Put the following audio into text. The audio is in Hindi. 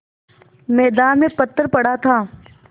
मैदान में पत्थर पड़ा था